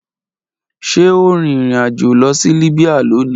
Ṣe o rin irin ajo lọ si Libya loni